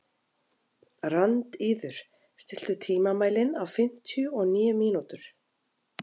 Randíður, stilltu tímamælinn á fimmtíu og níu mínútur.